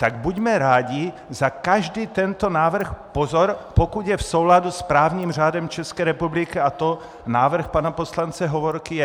Tak buďme rádi za každý tento návrh - pozor, pokud je v souladu s právním řádem České republiky, a to návrh pana poslance Hovorky je.